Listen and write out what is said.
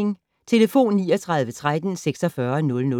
Telefon: 39 13 46 00